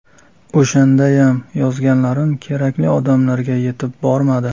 O‘shandayam yozganlarim kerakli odamlarga yetib bormadi.